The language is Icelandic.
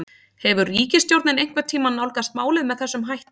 Hefur ríkisstjórnin einhvern tímann nálgast málið með þessum hætti?